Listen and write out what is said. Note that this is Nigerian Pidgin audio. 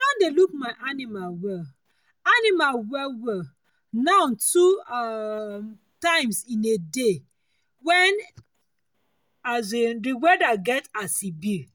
i don dey look my animal well animal well well now two um times in a day when um the weather get as e be